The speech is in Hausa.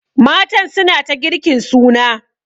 Matan suna ta girkin suna.